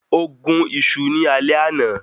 Ó gún isu ní alẹ́ àná